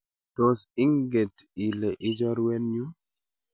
tos inget ile i chorwenyu?